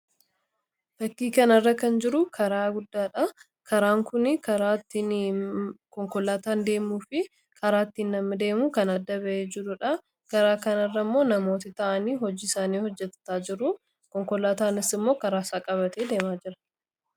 Fakkii kana irra kan jiru karaa guddaadha. Karaan kunii kaaaraa konkolaataan deemuu fi karaattiin nammi deemu kan adda ba'e jiruudha. Karaa kan irra immoo namoota ta'anii hojjiisaanii hojjetaa jiru konkolaataanis immoo karaa isaa qabate deemaa jira.